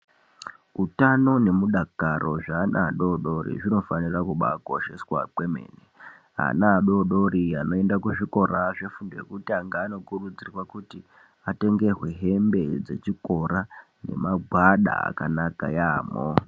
Utano ne mudakaro zve ana adodori kuno fanira kubai kosheswa kwemene ana adodori anoenda ku zvikora zveku tanga anokurudzirwa kuti atengerwe hembe dze chikora ne magwada aka naka yamho.